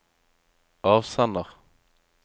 avsender